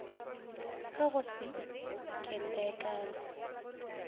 ka wa go se itekanele